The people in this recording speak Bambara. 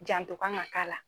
Janto kan ka k'a la